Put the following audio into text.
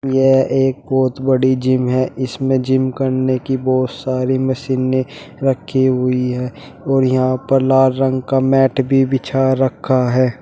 यह एक बहोत बड़ी जिम है इसमें जिम करने की बहुत सारी मशीनें रखी हुई है और यहां पर लाल रंग का मैट भी बिछा रखा है।